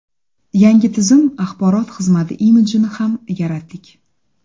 Yangi tizim axborot xizmati imidjini ham yaratdik.